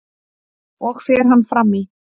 og fer hann fram í